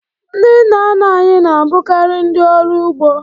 Ndị nna nna anyị na-abụkarị ndị ọrụ ugbo